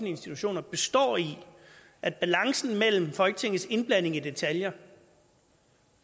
institutioner består i at balancen mellem folketingets indblanding i detaljer